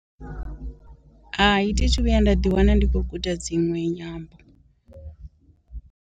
Hai thi thu vhuya nda ḓi wana ndi khou guda dzinwe nyambo.